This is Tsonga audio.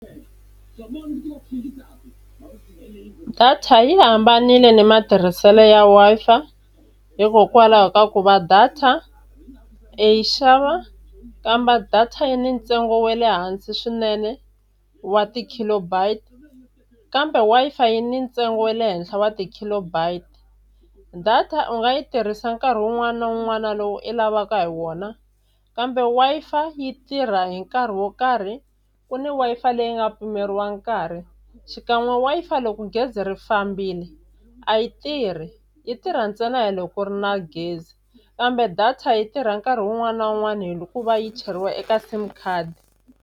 Data yi hambanile na matirhiselo ya Wi-Fi hikokwalaho ka ku va data i yi xava kambe data yi ni ntsengo wa le hansi swinene wa ti-kilobyte, kambe Wi-fi yi ni ntsengo wa le henhla wa ti-kilobyte. Data u nga yi tirhisa nkarhi wun'wana na wun'wana lowu i lavaka hi wona, kambe Wi-Fi yi tirha hi nkarhi wo karhi ku ni Wi-Fi leyi nga pimeriwa nkarhi. Xikan'we Wi-Fi loko gezi ri fambile a yi tirhi yi tirha ntsena hi loko ku ri na gezi, kambe data yi tirha nkarhi wun'wani na wun'wani hikuva yi cheriwa eka sim card.